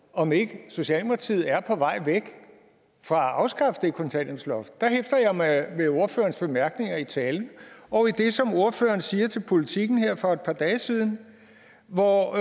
om ikke socialdemokratiet er på vej væk fra at afskaffe det kontanthjælpsloft der hæfter jeg mig ved ordførerens bemærkninger i talen og i det som ordføreren sagde til politiken her for et par dage siden hvor